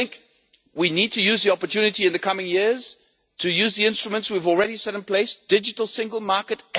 And we need to use the opportunity in the coming years to use the instruments we have already put in place the digital single market